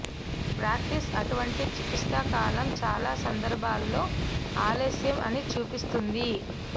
practice అటువంటి చికిత్స కాలం చాలా సందర్భాలలో ఆలస్యం అని చూపిస్తుంది